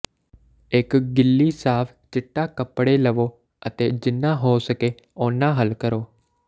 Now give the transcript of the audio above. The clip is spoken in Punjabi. ਇੱਕ ਗਿੱਲੀ ਸਾਫ ਚਿੱਟਾ ਕੱਪੜੇ ਲਵੋ ਅਤੇ ਜਿੰਨਾ ਹੋ ਸਕੇ ਹੋ ਸਕੇ ਉਨਾਂ ਹੱਲ ਕਰੋ